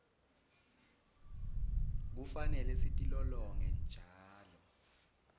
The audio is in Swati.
kufanele sitilolonge njalo